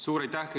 Suur aitäh!